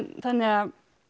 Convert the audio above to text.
þannig að